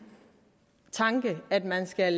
tanke at man skal